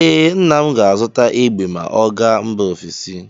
Ee, nna m ga-azụta egbe ma ọ gaa mba ofesi.